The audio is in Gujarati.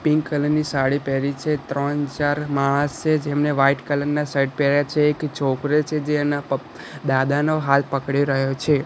પિંક કલર ની સાડી પેહરી છે ત્રણ ચાર માણસ છે જેમને વ્હાઇટ કલર ના શર્ટ પેર્યા છે એક છોકરો છે જે એના પ દાદાનો હાથ પકડી રહ્યો છે.